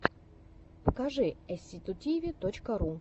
покажи эсситутиви точка ру